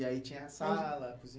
E aí tinha sala,